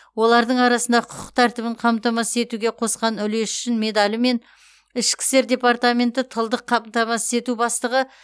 олардың арасында құқық тәртібін қамтамасыз етуге қосқан үлесі үшін медалімен ішкі істер департаменті тылдық қамтамасыз ету бастығы